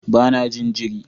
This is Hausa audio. Ba na jin jiri